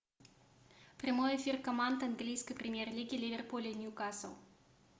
прямой эфир команд английской премьер лиги ливерпуль и ньюкасл